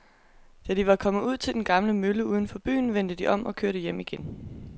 Da de var kommet ud til den gamle mølle uden for byen, vendte de om og kørte hjem igen.